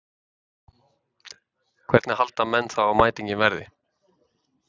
Hvernig halda menn þá að mætingin verði?